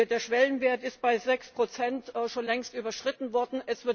Der Schwellenwert ist bei 6 schon längst überschritten worden.